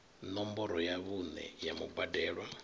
ṋomboro ya vhuṋe ya mubadelwa